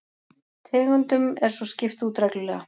Tegundum er svo skipt út reglulega